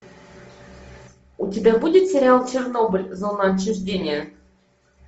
у тебя будет сериал чернобыль зона отчуждения